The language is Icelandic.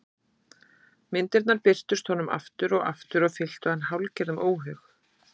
Myndirnar birtust honum aftur og aftur og fylltu hann hálfgerðum óhug.